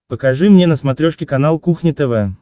покажи мне на смотрешке канал кухня тв